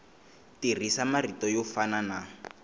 tirhisa marito yo fana na